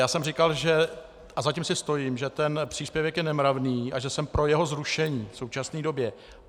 Já jsem říkal, a za tím si stojím, že ten příspěvek je nemravný a že jsem pro jeho zrušení v současné době.